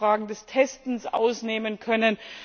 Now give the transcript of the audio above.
Wir haben auch Fragen des Testens ausnehmen können.